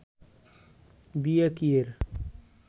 বিয়া কিয়ের